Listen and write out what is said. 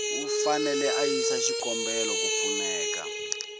u fanele a yisa xikombelo